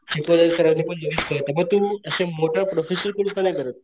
शिकवलेलं सरांनी पण लगेच कळत म तू असं मोठं प्रोफेशनल कोर्स का नाही करत.